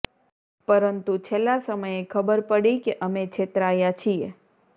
પરંતુ છેલ્લા સમયે ખબર પડી કે અમે છેતરાયા છીએ